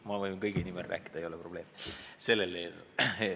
Ma võin selle eelnõu puhul rääkida kõigi nimel, ei ole probleemi.